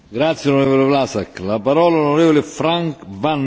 In de eerste plaats een simpele vaststelling die belangrijk is.